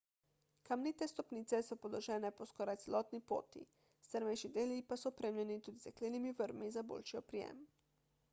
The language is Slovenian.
kamnite stopnice so položene po skoraj celotni poti strmejši deli pa so opremljeni tudi z jeklenimi vrvmi za boljši oprijem